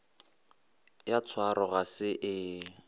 ya tshwaro ga se e